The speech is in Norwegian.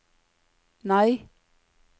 nei